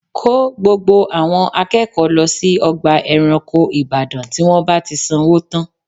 Kó gbogbo àwọn akẹ́kọ̀ọ́ lọ sí ọgbà ẹranko ìbàdàn tí wọ́n bá ti sanwó tán